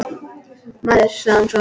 Maður, sagði hún svo.